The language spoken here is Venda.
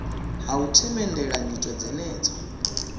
ha u themendela nyito dzenedzo